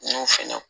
N y'o fɛnɛ